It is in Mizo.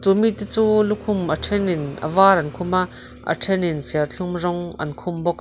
chu mite chu lukhum a thenin a var an khum a a then in serthlum rawng an khum bawk.